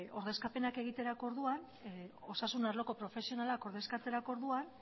ordezkapenak egiterako orduan osasun arloko profesionalak ordezkatzerako orduan